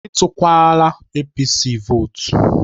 Etukwala APC votu